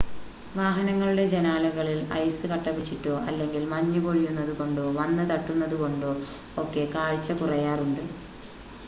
വാഹനങ്ങളുടെ ജനാലകളിൽ ഐസ് കട്ടപിടിച്ചിട്ടോ അല്ലെങ്കിൽ മഞ്ഞ് പൊഴിയുന്നതുകൊണ്ടോ വന്ന് തട്ടുന്നതുകൊണ്ടോ ഒക്കെ കാഴ്ച കുറയാറുണ്ട്